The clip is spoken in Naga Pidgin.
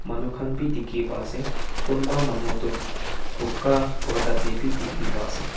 manu khan bhi dekhi po ase kunba manu tu buka korta te bhi dekhi pa ase.